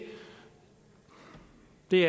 det